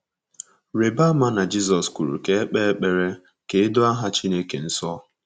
Rịba ama na Jizọs kwuru ka e kpee ekpere ka e doo aha Chineke nsọ.